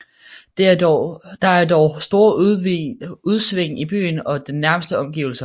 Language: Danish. Der er dog store udsving i byen og dens nærmeste omgivelser